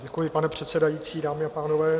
Děkuji, pane předsedající, dámy a pánové.